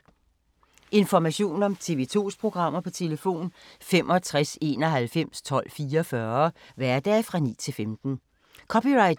Information om TV 2's programmer: 65 91 12 44, hverdage 9-15.